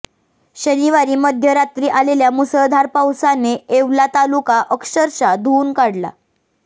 शनिवारी मध्यरात्री आलेल्या मुसळधार पावसाने येवला तालुका अक्षरशः धुवून काढला